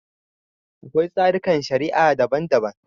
Akwai tsarikan shari'a daban-daban.